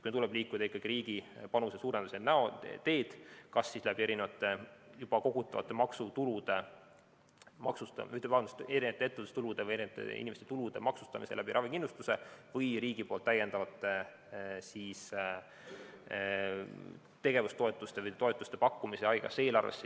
Meil tuleb liikuda ikkagi riigi panuse suurendamise teed, kas siis erinevate ettevõtlustulude või inimeste tulude maksustamise kaudu ravikindlustusmaksuga või riigi täiendavate tegevustoetuste või toetuste pakkumise kaudu haigekassa eelarvesse.